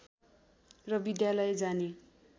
र विद्यालय जाने